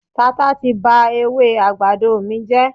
Tata ti ba ewé àgbàdo mi jẹ́.